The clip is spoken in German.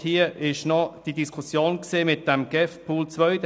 Es gab noch die Diskussion um den GEF-Pool 2.